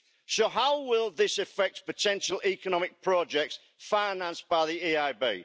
So how will this affect potential economic projects financed by the EIB?